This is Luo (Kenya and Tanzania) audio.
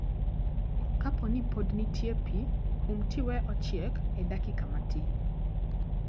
Kaponi pod nitie pii, um tiwee ochiek e dakika matin